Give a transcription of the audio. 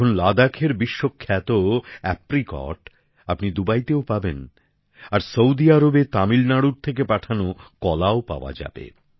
এখন লাদাখের বিশ্বখ্যাত অ্যাপ্রিকট আপনি দুবাইতেও পাবেন আর সৌদি আরবে তামিলনাড়ুর থেকে পাঠানো কলা পাওয়া যাবে